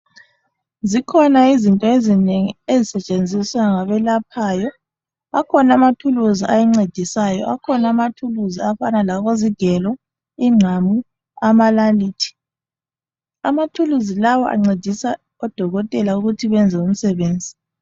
Zikhona izinto ezinengi ezisetshenziswa ngabelaphayo akhona ama tools ancedisayo akhona ama tools afana labozigelo izingqamu amanalithi ama tools lawa ancedisa odokotela ukuthi benze umsebenzi.